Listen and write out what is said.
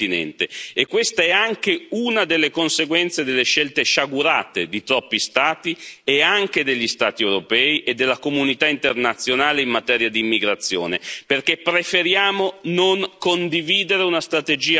E questa è anche una delle conseguenze delle scelte sciagurate di troppi Stati, e anche degli Stati europei e della comunità internazionale in materia di immigrazione perché preferiamo non condividere una strategia comune.